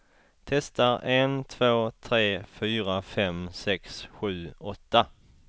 Testar en två tre fyra fem sex sju åtta.